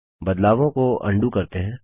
बदलावों को अन्डू करते हैं